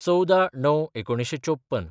१४/०९/१९५४